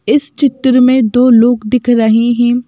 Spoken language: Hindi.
इस चित्र में दो लोग दिख रहे हैं।